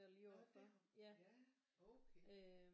Nå derovre ja okay